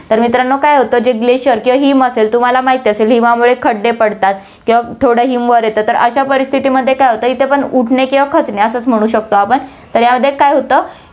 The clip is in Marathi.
तर मित्रांनो, काय होतं, जे glacier किंवा हिम असेल, तर तुम्हाला माहीत असेल, हिमामुळे खड्डे पडतात किंवा थोडं हिम वर येतं, तर अश्या परिस्थितिमध्ये काय होतं, इथे पण उठणे किंवा खचणे असच म्हणु शकतो आपण, तर यामध्ये काय होतं की